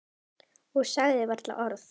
Og sagði varla orð.